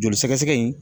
Joli sɛgɛsɛgɛ in